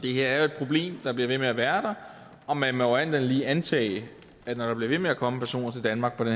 er jo et problem der bliver ved med at være der og man må alt andet lige antage at når der bliver ved med at komme personer til danmark under